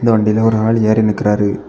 வண்டியில ஒரு ஆள் ஏறி நிக்கிறாரு.